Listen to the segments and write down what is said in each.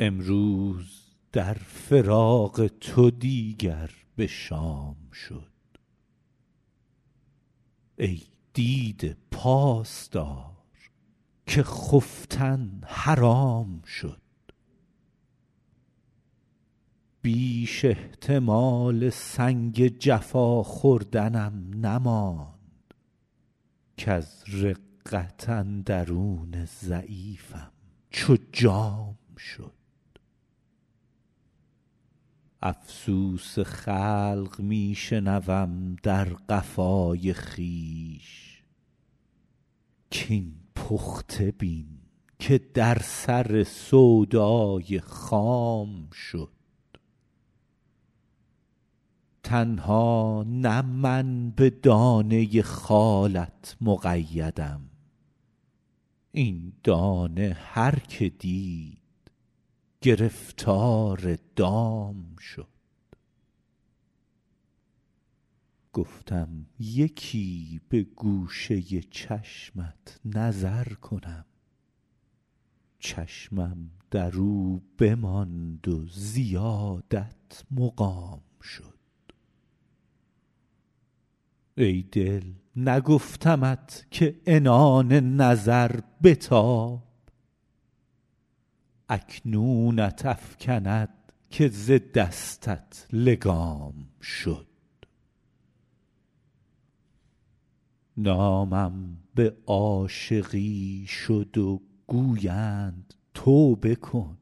امروز در فراق تو دیگر به شام شد ای دیده پاس دار که خفتن حرام شد بیش احتمال سنگ جفا خوردنم نماند کز رقت اندرون ضعیفم چو جام شد افسوس خلق می شنوم در قفای خویش کاین پخته بین که در سر سودای خام شد تنها نه من به دانه خالت مقیدم این دانه هر که دید گرفتار دام شد گفتم یکی به گوشه چشمت نظر کنم چشمم در او بماند و زیادت مقام شد ای دل نگفتمت که عنان نظر بتاب اکنونت افکند که ز دستت لگام شد نامم به عاشقی شد و گویند توبه کن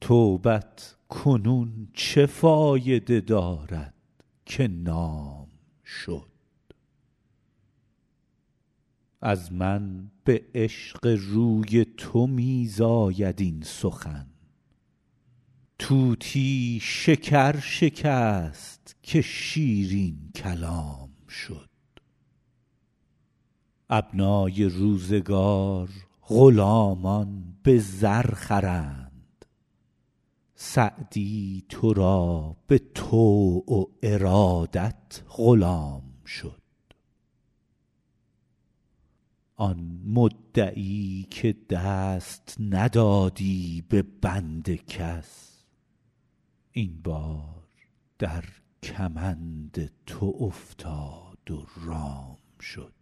توبت کنون چه فایده دارد که نام شد از من به عشق روی تو می زاید این سخن طوطی شکر شکست که شیرین کلام شد ابنای روزگار غلامان به زر خرند سعدی تو را به طوع و ارادت غلام شد آن مدعی که دست ندادی به بند کس این بار در کمند تو افتاد و رام شد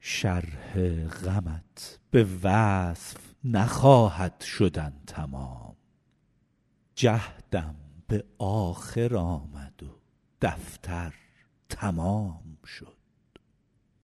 شرح غمت به وصف نخواهد شدن تمام جهدم به آخر آمد و دفتر تمام شد